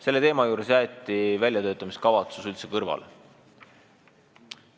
Selle teema puhul jäeti väljatöötamiskavatsus üldse kõrvale.